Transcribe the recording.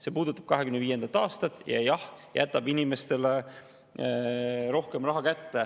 See puudutab 2025. aastat, jah, ja jätab inimestele rohkem raha kätte.